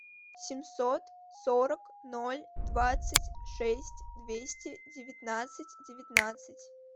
семьсот сорок ноль двадцать шесть двести девятнадцать девятнадцать